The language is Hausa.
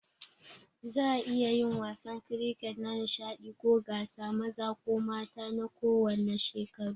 Za'a iya yin wasan kiriket a nishaɗi ko gasa, maza ko mata na kowanne shekaru.